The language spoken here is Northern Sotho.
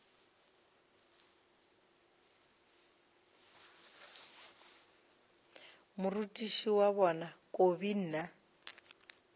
morutiši wa bona kobi mna